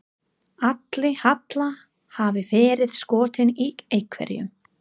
Ætli Halla hafi verið skotin í einhverjum?